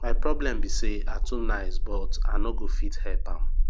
my problem be say i too nice but i no go fit help am